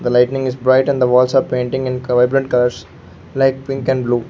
The lightning is bright and the walls are painting in vibrant colours like pink and blue.